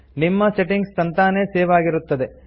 ನಿಮ್ಮ ಸೆಟ್ಟಿಂಗ್ಸ್ ತಂತಾನೇ ಸೇವ್ ಆಗಿರುತ್ತದೆ